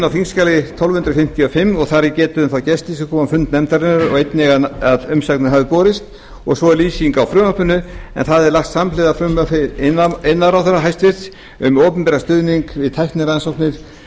á þingskjali tólf hundruð fimmtíu og fimm og þar er getið um þá gesti sem komu á fund nefndarinnar og einnig að umsagnir hafi borist svo og lýsing á frumvarpinu en það er lagt samhliða frumvarpi iðnaðarráðherra hæstvirtur við opinberan stuðning við tæknirannsóknir